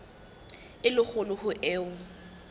e le kgolo ho eo